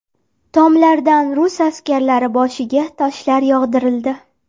Tomlardan rus askarlari boshiga toshlar yog‘dirildi.